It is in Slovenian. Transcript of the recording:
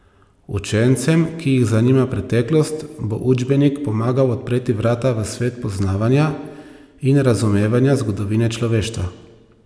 Učencem, ki jih zanima preteklost, bo učbenik pomagal odpreti vrata v svet poznavanja in razumevanja zgodovine človeštva.